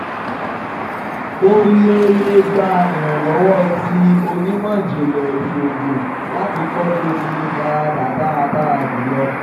O le le gba iranlọwọ ti onimọ-jinlẹ iṣoogun lati kọ bi o tile farada daradara ju lo